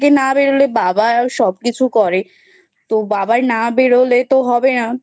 না বেরোলে বাবা আর সবকিছু করে তো বাবাই না বেরোলে তো হবে না